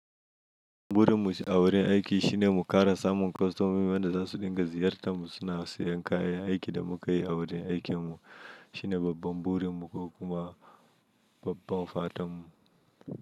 Burin mu a wurin aiki shine mu ƙara samun kostomomi wanda za su dinga ziyartar mu, suna siyan kayan aikin da mu ka yi a wurin aikin mu. Shine babban burin mu ko kuma babban fatan mu.